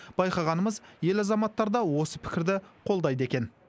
байқағанымыз ел азаматтары да осы пікірді қолдайды екен